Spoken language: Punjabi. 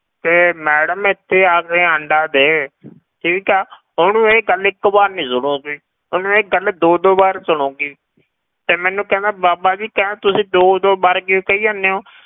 ਕਿ madam ਇੱਥੇ ਆ ਕੇ ਆਂਡਾ ਦੇ ਠੀਕ ਹੈ ਉਹਨੂੰ ਇਹ ਗੱਲ ਇੱਕ ਵਾਰ ਨੀ ਸੁਣੇਗੀ, ਉਹਨੂੰ ਇਹ ਗੱਲ ਦੋ ਦੋ ਵਾਰ ਸੁਣੇਗੀ ਤੇ ਮੈਨੂੰ ਕਹਿੰਦਾ ਬਾਬਾ ਜੀ ਕਹਿੰਦਾ ਤੁਸੀਂ ਦੋ ਦੋ ਵਾਰ ਕਿਉਂ ਕਹੀ ਜਾਂਦੇ ਹੋ